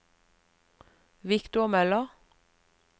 Viktor Møller